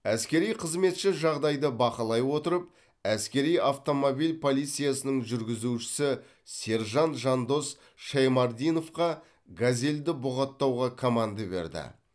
әскери қызметші жағдайды бақылай отырып әскери автомобиль полициясының жүргізушісі сержант жандос шаймардиновқа газелді бұғаттауға команда берді